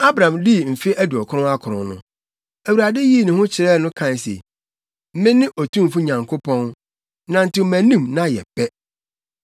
Abram dii mfe aduɔkron akron no, Awurade yii ne ho adi kyerɛɛ no kae se, “Mene Otumfo Nyankopɔn, nantew mʼanim na yɛ pɛ.